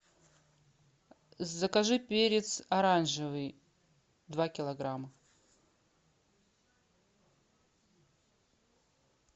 закажи перец оранжевый два килограмма